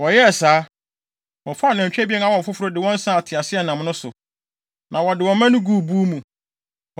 Wɔyɛɛ saa. Wɔfaa anantwi abien a wɔawo foforo de wɔn saa teaseɛnam no so, na wɔde wɔn mma no guu buw mu.